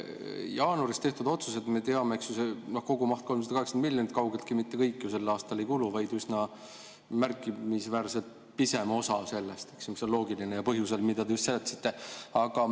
Jaanuaris tehtud otsused, me teame, kogumahus 380 miljonit, kaugeltki mitte kõik ju sel aastal ei kulu, vaid üsna märkimisväärselt pisem osa sellest, mis on loogiline, ja põhjusel, mida te just selgitasite.